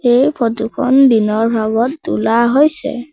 এই ফটো খন দিনৰ ভাগত তোলা হৈছে।